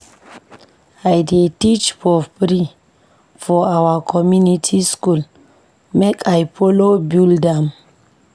I dey teach for free for our community skool make I folo build am.